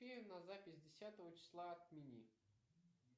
на запись десятого числа отмени